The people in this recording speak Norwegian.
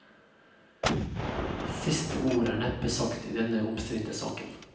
Siste ord er neppe sagt i denne omstridte saken.